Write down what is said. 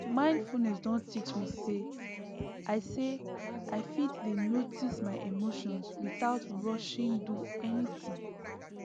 ah mindfulness don teach me say i say i fit dey notice my emotions without rushing do anything